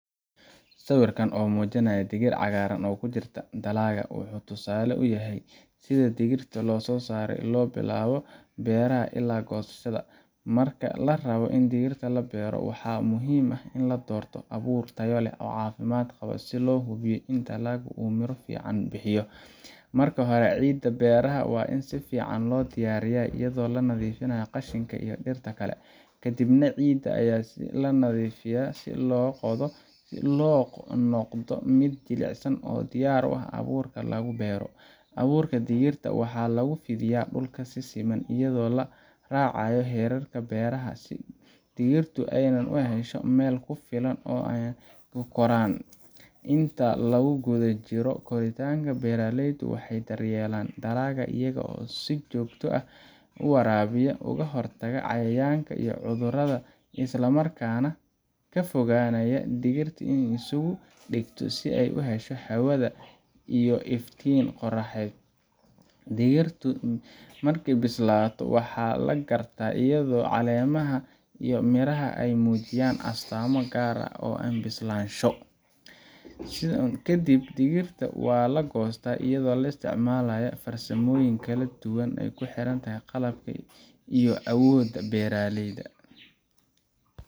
Sawirkan oo muujinaya digir cagaaran oo ku jirta dalagga, wuxuu tusaale u yahay sida digirta loo soo saaro laga bilaabo beerashada ilaa goosashada. Marka la rabo in digirta la beero, waxaa muhiim ah in la doorto abuur tayo leh oo caafimaad qaba si loo hubiyo in dalagu uu miro fiican bixiyo. Marka hore, ciidda beeraha waa in si fiican loo diyaariyaa iyadoo la nadiifinayo qashinka iyo dhirta kale, kadibna ciidda waa la firdhiyaa oo la qodaa si ay u noqoto mid jilicsan oo diyaar u ah in abuurka lagu beero. Abuurka digirta waxaa lagu fidiyaa dhulka si siman, iyada oo la raacayo xeerarka beerashada si digirtu ay u hesho meel ku filan oo ay ku koraan. Inta lagu guda jiro koritaanka, beeralaydu waxay daryeelaan dalagga iyaga oo si joogto ah u waraabiya, uga hortaga cayayaanka iyo cudurada, isla markaana ka fogaanaya in dhirta ay isugu dhegto si ay u hesho hawada iyo iftiinka qorraxed. Marka digirtu bislaato, waxaa la gartaa iyadoo caleemaha iyo miraha ay muujiyaan astaamo gaar ah oo bislaansho. Kadib, digirta waa la goostaa iyadoo la isticmaalayo farsamooyin kala duwan oo ku xiran qalabka iyo awoodda beeralayda.